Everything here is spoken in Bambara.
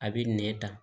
A bɛ nɛn ta